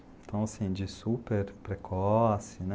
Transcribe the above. Então, assim, de superprecoce, né?